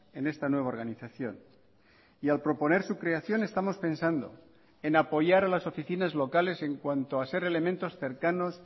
en esta nueva organización y al proponer su creación estamos pensando en apoyar a las oficinas locales en cuanto a ser elementos cercanos